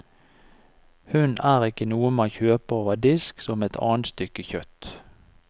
Hund er ikke noe man kjøper over disk som et annet stykke kjøtt.